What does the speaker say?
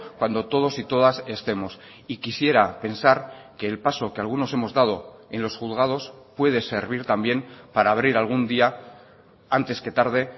cuando todos y todas estemos y quisiera pensar que el paso que algunos hemos dado en los juzgados puede servir también para abrir algún día antes que tarde